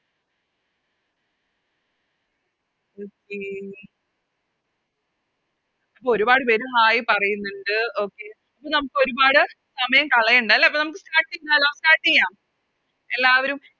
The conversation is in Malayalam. Okay അപ്പൊ ഒരുപാട് പേര് Hai പറയുന്നിണ്ട് Okay അപ്പൊ നമുക്കൊരുപാട് സമയം കളയണ്ട അല്ലെ അപ്പൊ നമുക്ക് Start ചെയ്താലോ Start ചെയ്യാം എല്ലാവരും